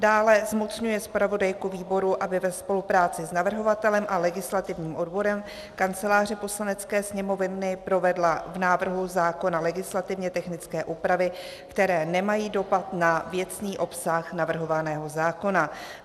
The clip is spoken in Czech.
Dále, zmocňuje zpravodajku výboru, aby ve spolupráci s navrhovatelem a legislativním odborem Kanceláře Poslanecké sněmovny provedla v návrhu zákona legislativně technické úpravy, které nemají dopad na věcný obsah navrhovaného zákona.